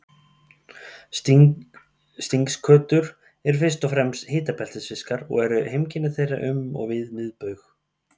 Stingskötur eru fyrst og fremst hitabeltisfiskar og eru heimkynni þeirra um og við miðbaug.